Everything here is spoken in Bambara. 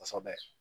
Kosɛbɛ